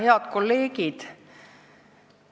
Head kolleegid!